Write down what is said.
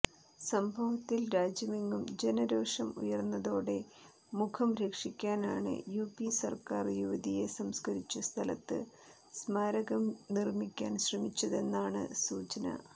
സംഭവത്തിൽ രാജ്യമെങ്ങും ജനരോഷം ഉയര്ന്നതോടെ മുഖം രക്ഷിക്കാനാണ് യുപി സര്ക്കാര് യുവതിയെ സംസ്കരിച്ച സ്ഥലത്ത് സ്മാരകം നിര്മിക്കാൻ ശ്രമിച്ചതെന്നാണ് സൂചന